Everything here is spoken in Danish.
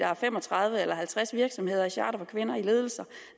er fem og tredive eller halvtreds virksomheder i charter for kvinder i ledelse